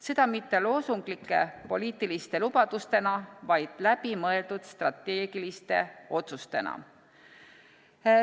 Seda mitte lühiajaliste loosunglike poliitiliste lubadustena, vaid läbimõeldud strateegiliste otsustena.